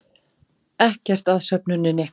Ekkert að söfnuninni